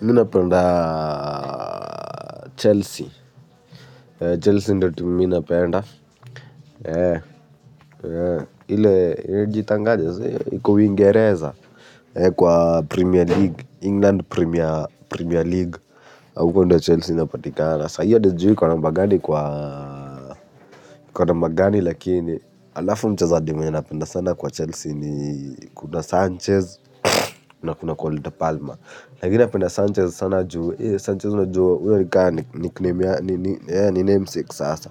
Mi napenda Chelsea Chelsea ndo timu mi napenda. Ile Jitangaje iko ingereza. Kwa Premier League, England Premier League. Huko ndo Chelsea inapatikana, sa hiyo adi sijui iko namba gani kwa kwa namba gani lakini alafu mchezaji mwenye napenda sana kwa Chelsea ni kuna Sanchez. Na kuna kwa Olida Palma. Lakini napenda Sanchez sana juwe. Sanchez najua. Uyo ni kaa ni nickname ya. Ni name sake asa.